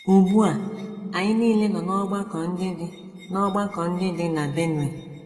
Ugbu a, anyị nile nọ n’ọgbakọ ndị dị n’ọgbakọ ndị dị na Benue.